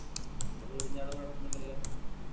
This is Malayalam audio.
എന്റ വീടിന്റാട കൊഴപ്പൊന്നുല്ലല്ലോ